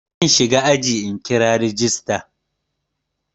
Zan shiga ajin in kira rajista.